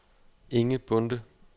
Inge Bonde